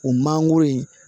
O mangoro